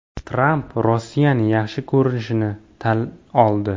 Tramp Rossiyani yaxshi ko‘rishini tan oldi.